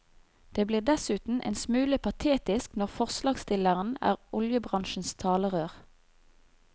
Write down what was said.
Det blir dessuten en smule patetisk når forslagsstilleren er oljebransjens talerør.